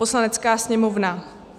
"Poslanecká sněmovna